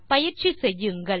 பயிற்சி செய்யுங்கள்